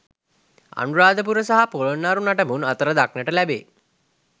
අනුරාධපුර සහ පොළොන්නරු නටබුන් අතර දක්නට ලැබේ.